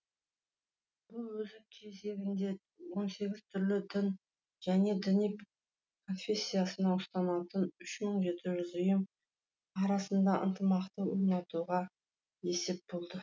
бұл өз кезегінде он сегіз түрлі дін және діни конфессияны ұстанатын үш мың жеті жүз ұйым арасында ынтымақты орнатуға есеп болды